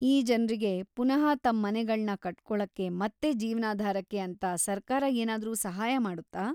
ಈ ಜನ್ರಿಗೆ ಪುನಃ ತಮ್ ಮನೆಗಳ್ನ ಕಟ್ಕೊಳಕ್ಕೆ ಮತ್ತೆ ಜೀವ್ನಾಧಾರಕ್ಕೆ ಅಂತ ಸರ್ಕಾರ ಏನಾದ್ರೂ ಸಹಾಯ ಮಾಡುತ್ತಾ?